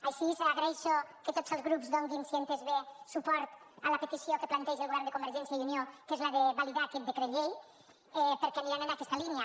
així agraeixo que tots els grups donin si ho he entès bé suport a la petició que planteja el govern de convergència i unió que és la de validar aquest decret llei perquè aniran en aquesta línia